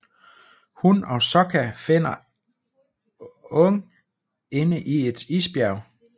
Hun og Sokka finder Aang inde i et isbjerg